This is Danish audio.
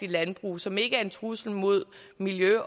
landbrug som ikke er en trussel mod miljø